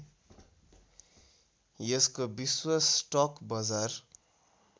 यसको विश्व स्टक बजार